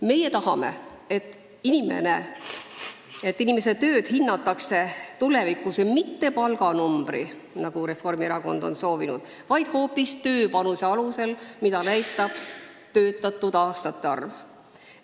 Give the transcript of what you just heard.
Meie tahame, et inimese tööd hinnatakse tulevikus mitte palganumbri alusel, nagu Reformierakond on soovinud, vaid hoopis panuse alusel, mida näitab töötatud aastate arv.